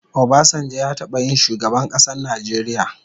Obasanjo ya taba yin shugaban kasan Nijeria